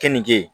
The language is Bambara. Kɛninke